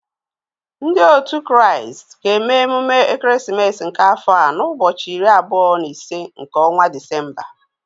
Ndị òtu Kraịst ga-eme emume ekeresimesi nke afọ a n'ụbọchị iri abụọ na ise nke ọnwa Disemba